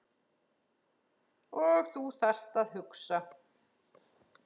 Og þú þarft að hugsa.